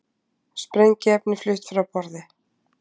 Sprengiefni flutt frá borði